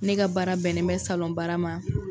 Ne ka baara bɛnnen bɛ baara ma.